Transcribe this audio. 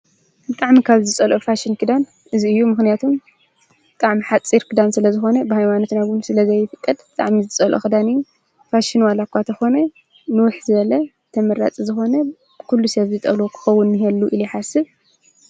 ቃዕሚ ካብ ዝጸልኦ ፋሽን ክዳን እዝይ እዩ ምኽንያቱም ቃዕም ሓጺር ክዳን ስለ ዝኾነ ብሓይዋኖትነጉኑ ስለ ዘይይፍቕድ ጥዕሚ ዝጸልኦ ኽዳንእዩ ፋሽኑዋላእኳ ተኾነ ንውኅ ዘለ ተመራጽ ዝኾነ ኲሉ ሰብ ዝጠሎ ክኸውን የሉ ኢልየሓስብ።